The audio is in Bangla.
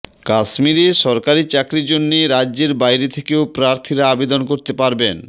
কাশ্মীরের সরকারি চাকরির জন্যে রাজ্যের বাইরে থেকেও প্রার্থীরা আবেদন করতে পারবেন